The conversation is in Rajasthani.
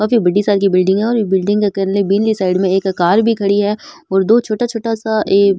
काफी बड़ी सारी बिलडिंग है और बिलडिंग के कल्ले बीनी साइड में एक कार भी खड़ी है और दो छोटा छोटा सा ए --